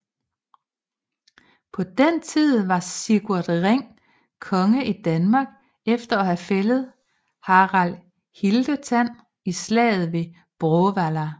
På den tid var Sigurd Ring konge i Danmark efter at have fældet Harald Hildetand i slaget ved Bråvalla